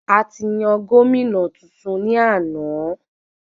A ti yan gómìnà tuntun ní àna